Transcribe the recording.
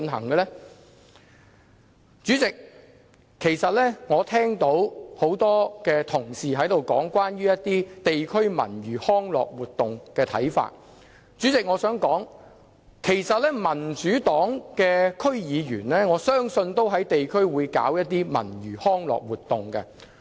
代理主席，其實我聽到很多同事提及對地區文娛康樂活動的看法，我想說，我相信民主黨的區議員會在地區舉辦文娛康樂活動。